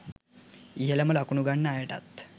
ඉහළම ලකුණු ගන්න අයටත්